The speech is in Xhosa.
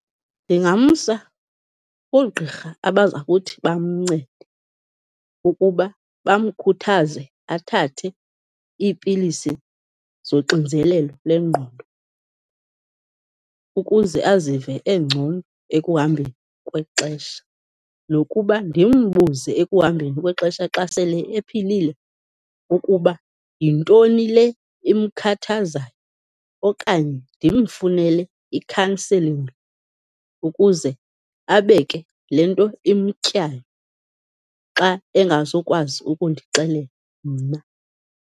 Ndingamsa koogqirha abazakuthi bamncede ukuba bamkhuthaze athathe iipilisi zoxinzelelo lengqondo ukuze azive engcono ekuhambeni kwexesha, nokuba ndimbuze ekuhambeni kwexesha xa sele ephilile ukuba yintoni le imkhathazayo okanye ndimfunele ikhanselingi ukuze abeke le nto imtyayo xa engazokwazi ukundixelela mna.